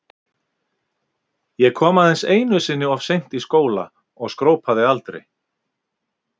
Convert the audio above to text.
Ég kom aðeins einu sinni of seint í skóla og skrópaði aldrei.